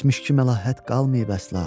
Keçmiş ki, məlahət qalmayıb əsla.